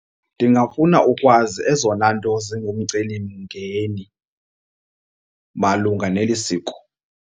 Ndingafuna ukwazi ezona nto zingumcelimngeni malunga neli siko.